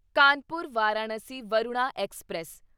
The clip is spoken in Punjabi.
ਕਾਨਪੁਰ ਵਾਰਾਣਸੀ ਵਰੁਣਾ ਐਕਸਪ੍ਰੈਸ